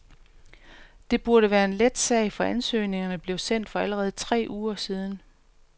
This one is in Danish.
Det burde være en let sag, for ansøgningerne blev sendt for allerede tre uger siden.